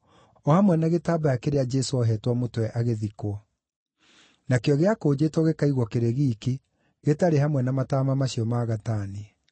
o hamwe na gĩtambaya kĩrĩa Jesũ ohetwo mũtwe agĩthikwo. Nakĩo gĩakũnjĩtwo gĩkaigwo kĩrĩ giiki, gĩtarĩ hamwe na mataama macio ma gatani.